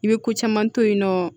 I bɛ ko caman to yen nɔ